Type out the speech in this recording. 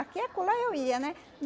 Aqui acolá eu ia, né?